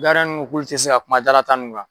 nunnu k'ule ti se ka kuma dalata nunnu kan